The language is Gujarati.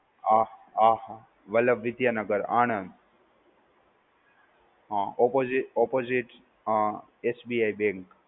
આહ આહ Vallabh Vidyanagar, Anand. Um opposi opposite um SBIbank